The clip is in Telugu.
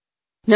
ప్రధాన మంత్రి